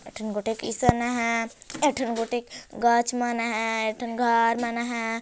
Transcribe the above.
एक ठीक गोटिक किसान मन हैं एक ठीक गोटिक गच्छ मन हैं एक ठन घर मन हैं।